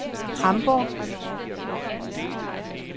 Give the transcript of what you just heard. Hamborg